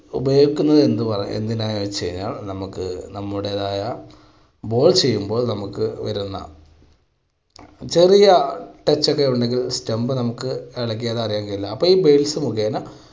ഉപയോഗിക്കുന്നത് എന്തിനാന്ന് വെച്ച് കഴിഞ്ഞാൽ നമുക്ക് നമ്മുടെതായ ball ചെയ്യുമ്പോൾ നമുക്ക് വരുന്ന ചെറിയ touch ഒക്കെ ഉണ്ടെങ്കിൽ stump നമുക്ക് ഇളകിയാൽ അറിയാൻ കഴിയില്ല. അപ്പോൾ ഈ base മുഖേന